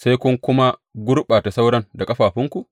Sai kun kuma gurɓata sauran da ƙafafunku?